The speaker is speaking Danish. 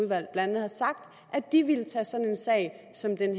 blandt andet har sagt at de ville tage sådan en sag som den